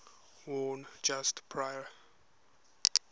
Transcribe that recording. worn just prior